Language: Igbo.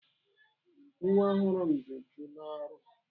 Nwa ọrụ m dị úchú n'ọrụ.